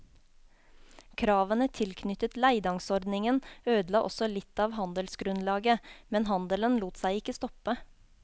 Kravene tilknyttet leidangsordningen ødela også litt av handelsgrunnlaget, men handelen lot seg ikke stoppe.